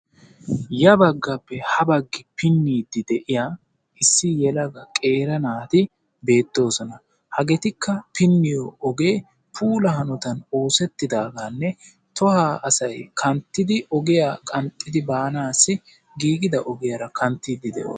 y abaggappe ha bagga pinnidi de'iyaa qeeri naati beettoosona. hageetikka pinniyo oge puula hanotan oosetidaagenne tohuwaa asay hemettidi ogiyaa qanxxidi baaanassi oosetida ogiyaara kanttdi heemetidi de'oosona.